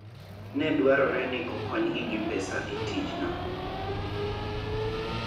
Ne dwarore ni okonygi gi pesa e tijno.